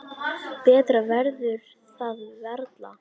Betra verður það varla.